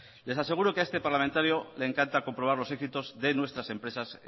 les aseguro que a este parlamentario le encanta comprobar los éxitos de nuestras empresas